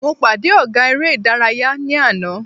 Mo pàdé ọ̀gá eré ìdárayá ní àná.